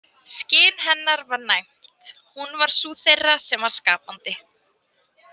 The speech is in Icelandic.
Skyn hennar var næmt, hún var sú þeirra sem var skapandi.